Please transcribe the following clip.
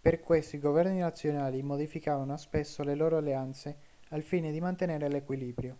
per questo i governi nazionali modificavano spesso le loro alleanze al fine di mantenere l'equilibrio